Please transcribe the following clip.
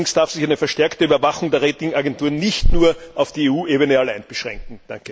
Allerdings darf sich eine verstärkte Überwachung der Rating Agenturen nicht nur auf die EU Ebene allein beschränken.